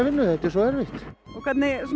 vinnu þetta er svo erfitt hvernig